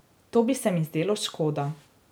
To bi se mi zdelo škoda.